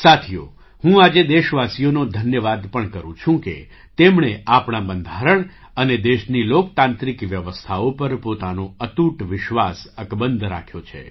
સાથીઓ હું આજે દેશવાસીઓનો ધન્યવાદ પણ કરું છું કે તેમણે આપણા બંધારણ અને દેશની લોકતાંત્રિક વ્યવસ્થાઓ પર પોતાનો અતૂટ વિશ્વાસ અકબંધ રાખ્યો છે